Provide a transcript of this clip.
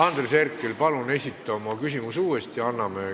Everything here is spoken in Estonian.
Andres Herkel, palun esita oma küsimus uuesti!